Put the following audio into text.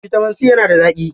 Bitamin C yana da zaƙi.